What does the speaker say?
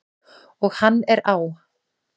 Og hann er á!